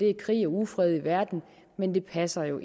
er krig og ufred i verden men det passer jo